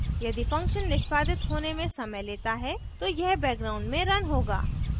यदि function निष्पादित होने में समय लेता है तो यह background में रन होगा